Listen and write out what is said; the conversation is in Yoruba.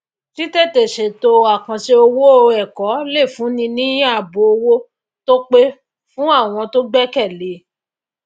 títètè ṣèto àkànṣe owó ẹkọ lè fúnni ní ààbò owó tó pé fún àwọn tó gbékèlé e